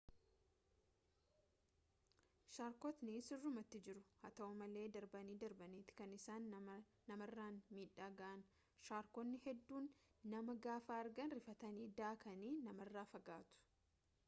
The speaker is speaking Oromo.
sharkotni sirruumati jiru haa ta'u malee darbanii darbaniiti kan isaan namarraan miidhaa ga'an shaarkonni hedduun nama gaafa argan rifatanii daakanii namarraa fagaatu